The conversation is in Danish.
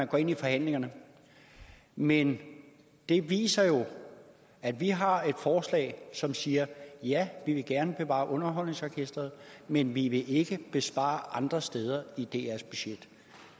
gå ind i forhandlingerne men det viser jo at vi har et forslag som siger ja vi vil gerne bevare underholdningsorkestret men vi vil ikke spare andre steder i drs budget